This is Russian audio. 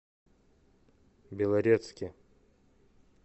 белорецке